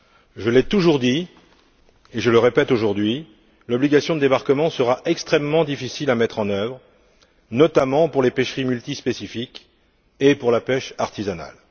Je l'ai toujours dit, et je le répète aujourd'hui, l'obligation de débarquement sera extrêmement difficile à mettre en œuvre, notamment pour les pêcheries multispécifiques et pour la pêche artisanale.